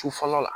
Sufɛ la